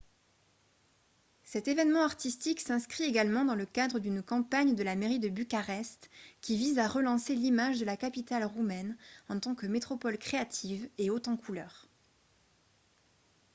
cet événement artistique s'inscrit également dans le cadre d'une campagne de la mairie de bucarest qui vise à relancer l'image de la capitale roumaine en tant que métropole créative et haute en couleur